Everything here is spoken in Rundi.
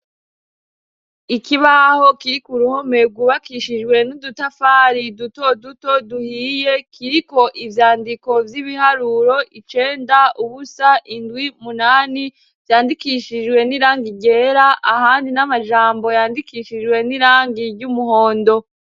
Ikibaho kiri ku ruhome rwubakishijwe n'udutafari duto duto duhiye ,kiriko ivyandiko vy'ibiharuro :icenda, ubusa indwi ,munani, vyandikishijwe n'irang ryera ,ahandi n'amajambo yandikishijwe n'irangi ry'umuhondo.